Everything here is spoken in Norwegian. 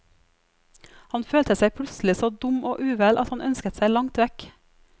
Han følte seg plutselig så dum og uvel, at han ønsket seg langt vekk.